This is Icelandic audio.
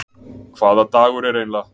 Hvaða dagur er eiginlega?